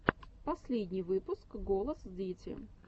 последний выпуск голос дети